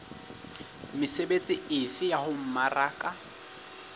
mesebetsi efe ya ho mmaraka